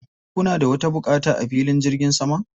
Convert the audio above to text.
Ko kuna da wata buƙata a filin jirgin saman?